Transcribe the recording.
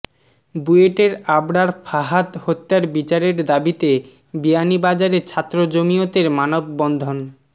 বুয়েটের আবরার ফাহাদ হত্যার বিচারের দাবিতে বিয়ানীবাজারে ছাত্র জমিয়তের মানববন্ধন